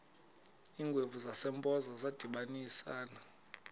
iingwevu zasempoza zadibanisana